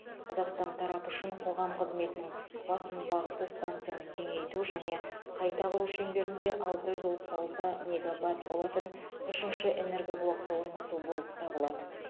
қазақстан тарапы үшін қоғам қызметінің басым бағыты станцияны кеңейту және қайта құру шеңберінде алты жүз отыз алты мегават болатын үшінші энергоблокты орнату болып табылады